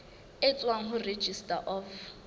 e tswang ho registrar of